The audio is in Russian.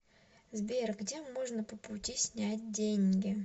сбер где можно по пути снять деньги